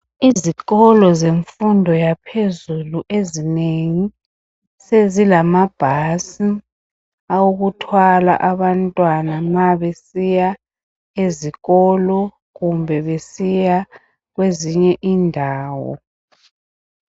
Izikolo semfundo yaphezulu ezinengi sezilamabhasi awokuthwala abantwana nxa basiya ezikolo kumbe besiya kwezinye indawo.